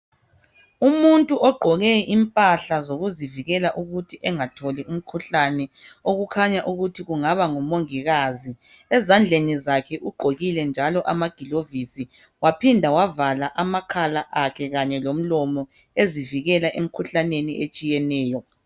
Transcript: Umuntu ogqoke impahla zokuzivikela ukuthi engatholi umkhuhlane okukhanya ukuthi kungaba ngumongikazi ezandleni zakhe ugqokile njalo amagilovisi waphinda wavala amakhala akhe kanye lomlomo ezivikela emikhuhlaneni etshiyeneyo.